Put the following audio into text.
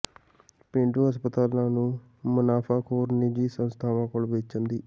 ਪੇਂਡੂ ਹਸਪਤਾਲਾ ਨੂੰ ਮੁਨਾਫਾਖੋਰ ਨਿੱਜੀ ਸੰਸਥਾਵਾਂ ਕੋਲ ਵੇਚਣ ਦੀ